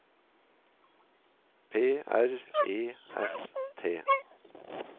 P R E S T